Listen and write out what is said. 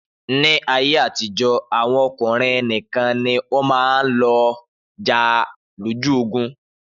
Ni ayé àtijọ́ àwọn ọkùnrin nìkan ni wọn máa ń lò jà lójú ogun